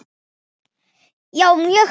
Já, mjög margt.